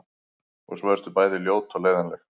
Og svo ertu bæði ljót og leiðinleg.